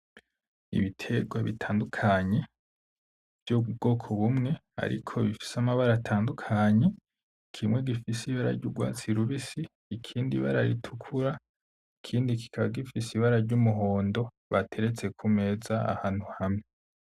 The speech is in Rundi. Ibitegwa bitandukanye vyo mu bwoko bumwe ariko bifise amabara atandukanye, kimwe gifise ibara ry'ugwatsi rubisi; ikindi ibara ritukura; ikindi kikaba gifise ibara ry'umuhondo bateretse kumeza ahantu hamwe.